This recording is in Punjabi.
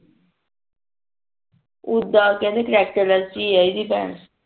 ਓਦਾ ਕਿਹੰਦੇ ਕਰਕਕਟੇਰਲੇਸ ਈ ਆ ਏਦੀ ਭੈਣ